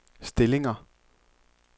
stillinger